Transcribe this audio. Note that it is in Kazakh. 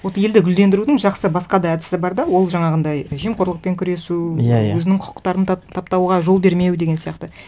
вот елді гүлдендірудің жақсы басқа да әдісі бар да ол жаңағындай жемқорлықпен күресу иә иә өзінің құқықтарын таптауға жол бермеу деген сияқты